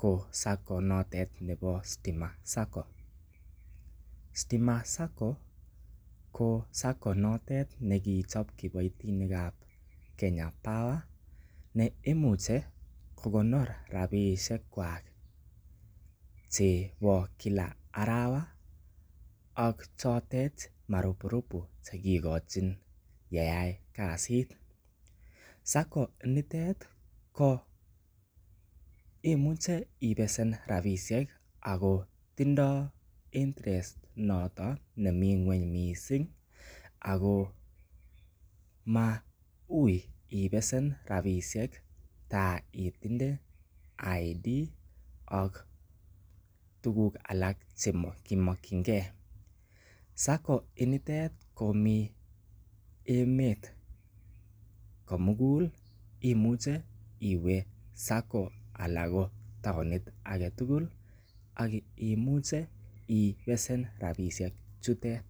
ko sacco notet nebo Stima sacco, Stima sacco, ko sacco notet ne kichop kiboitinikab Kenya power ne imuche kokonor rabiisiekwak chebo kila arawa ak chotet maruburubu che kikochin yeai kasit. Sacco nitet ko imuche ibesen rabiisiek ako tindoi interest noto nemi nguny mising, ako ma ui ibesen rabiisiek ta itinye idendity card ak tukuk alak che mokchinkei, sacco initet komi emet komugul, imuche iwe sacco alan ko taonit ake tugul ak imuche ibesen rabiisiek chutet.